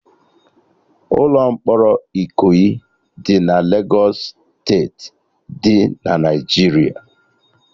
Ụlọ mkpọrọ Ikoyi dị na Legos steeti dị na Naijiria